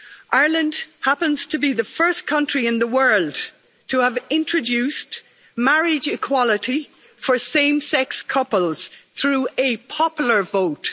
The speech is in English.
Ireland also happens to be the first country in the world to have introduced marriage equality for same sex couples through a popular vote.